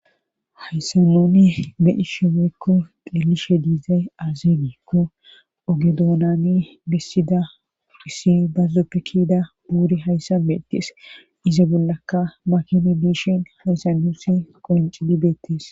Haysan nuni bedishe weykko qelishe diizay azeegiikko ogedoonani bessida dhissi bazzoppekida buuri hayssa beettees iza bollaka makinu diishin hayssanusi qoincidi beettees